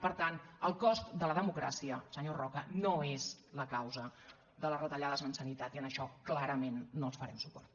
per tant el cost de la democràcia senyor roca no és la causa de les retallades en sanitat i en això clarament no els farem suport